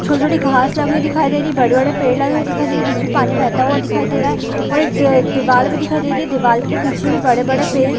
छोटी-छोटी घाँस लगी हुई दिखाई दे रही है बड़े-बड़े पेड़ लगे हुए दिखाई दे रही है बीच में पानी बेहता हुआ दिखाई दे रहा है ओर एक द दीवाल भी दिखाई दे रही है दीवाल के पीछे भी बड़े-बड़े पेड़--